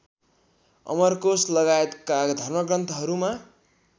अमरकोष लगाएतका धर्मग्रन्थहरूमा